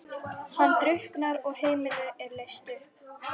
Hann drukknar og heimilið er leyst upp.